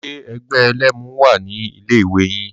Ṣe ẹgbẹ́ ẹlẹ́mu wà ní ilé ìwé yín?